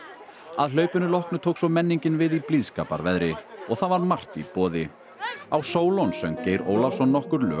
að hlaupinu loknu tók svo menningin við í blíðskaparveðri og það var margt í boði á Sólon söng Geir Ólafsson nokkur lög